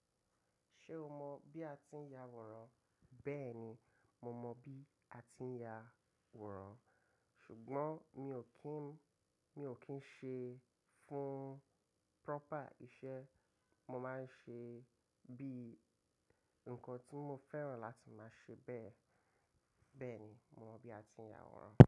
Ṣé o mọ bí a ti ń ya woran? Bẹ́ẹ̀ni, mo mọ bí a ti ń ya woran, ṣùgbọ́n mi ò kín, mi ò kín ṣe fún proper iṣẹ́, mo máa ń ṣe bí nǹkan tí mo fẹ́ràn láti máa ṣe bẹ́ẹ̀. Bẹ́ẹ̀ni, mo mọ bí a ti ń ya wòrò.